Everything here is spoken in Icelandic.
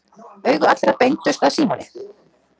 Augu allra beindust að Símoni.